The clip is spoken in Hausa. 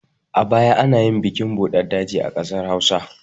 A baya anayin bikin buɗar daji a ƙasar hausa